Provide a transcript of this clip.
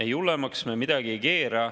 Ei, hullemaks me midagi ei keera.